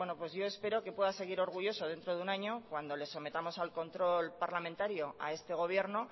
pues yo espero que pueda seguir orgulloso dentro de un año cuando lo sometamos al control parlamentario a este gobierno